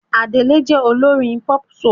Adele jẹ́ olórin pop-soul.